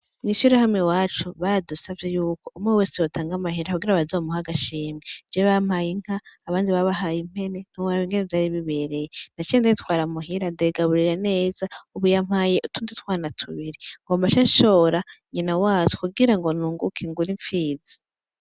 Mw'ishirahamwe iwacu baradusavye yuko umwe wese yotanga amahera kugira bazomuhe agashimwe je bampaye inka abandi babahaye impene ntiworaba ingene vyari bibereye naciye ndayitwara muhira ndayigaburira neza ubu yampaye utundi twana tubiri ngomba nce nshora nyina wazo kugira ngo nunguke ngure impfizi